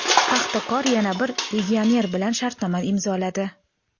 "Paxtakor" yana bir legioner bilan shartnoma imzoladi.